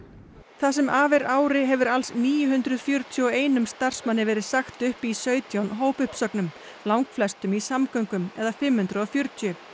það sem af er ári hefur alls níu hundruð fjörutíu og einum starfsmanni verið sagt upp í sautján hópuppsögnum langflestum í samgöngum eða fimm hundruð og fjörutíu